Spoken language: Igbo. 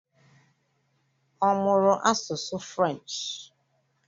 Ọ mụrụ asụsụ Frenchị?